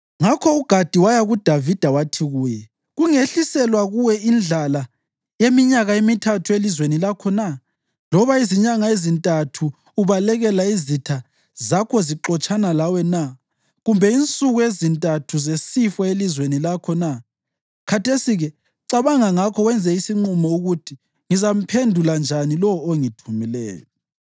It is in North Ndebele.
Ngakho uGadi waya kuDavida wathi kuye, “Kungehliselwa kuwe indlala yeminyaka emithathu elizweni lakho na? Loba izinyanga ezintathu ubalekela izitha zakho zixotshana lawe na? Kumbe insuku ezintathu zesifo elizweni lakho na? Khathesi-ke cabanga ngakho wenze isinqumo ukuthi ngizamphendula njani lowo ongithumileyo.”